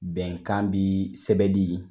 Bɛnkan bi sɛbɛ di